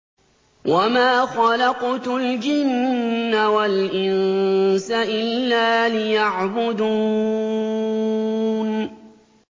وَمَا خَلَقْتُ الْجِنَّ وَالْإِنسَ إِلَّا لِيَعْبُدُونِ